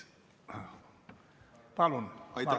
Palun!